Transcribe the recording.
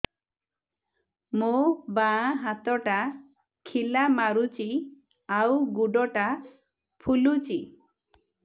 ମୋ ବାଆଁ ହାତଟା ଖିଲା ମାରୁଚି ଆଉ ଗୁଡ଼ ଟା ଫୁଲୁଚି